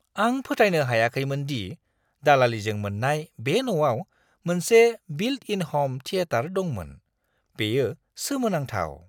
आं फोथायनो हायाखैमोन दि दालालिजों मोन्नाय बे न'आव मोनसे बिल्ट-इन ह'म थिएटार दंमोन। बेयो सोमोनांथाव!